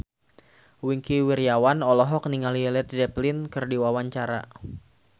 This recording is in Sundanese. Wingky Wiryawan olohok ningali Led Zeppelin keur diwawancara